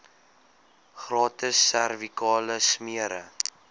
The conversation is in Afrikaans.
gratis servikale smere